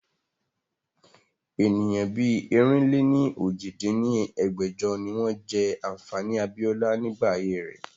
Ènìyàn bí ẹ̀rin-lé-ní-ojì dín ní ẹgbẹ́jọ ni wọn jẹ́ ànfàní abiola nígbà ayé rẹ̀